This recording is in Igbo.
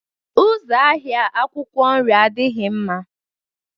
Ụzọ ahịa akwụkwọ nri adịghị mma.